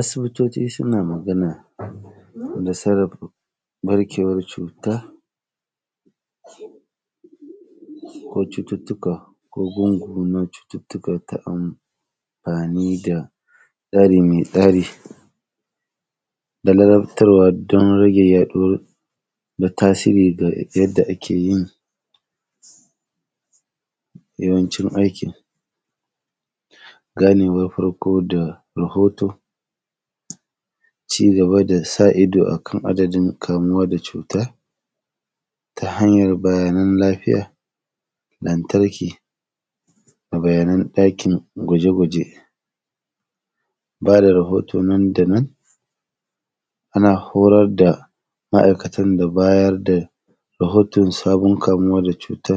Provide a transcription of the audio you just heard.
Asibitoti suna magana da sarrafa ƃarkwar cuta ko cututtuka ko gungu na cututtuka ta amfani da tsari me tsari da ladabtarwa don rage yaɗuwar na tasiri ga yadda ake yin yawancin aikin. Ganewar farko da rahoto, ci gaba da sa ido a kan adadin kamuwa da cuta ta hanyar bayanan lafiya. Lantarki, bayanan ɗakin gwajegwaje, ba da rahoto nan da nan, ana horar da ma’aikatan da bayar da rahoton sabon kamuwa da cuta